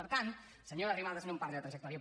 per tant senyora arrimadas no em parli de trajectòria